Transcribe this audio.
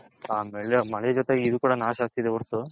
ಮಳೆ ಜೊತೆಗೆ ಇದು ಕುಡನು ನಾಶ ಆಗ್ತಿದೆ ವರ್ತು